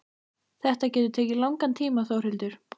Þetta getur tekið langan tíma Þórhildur.